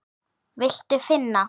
Viltu finna?